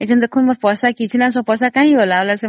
କିନ୍ତୁ ଏବେ ଦେଖନ୍ତୁ ମୋ account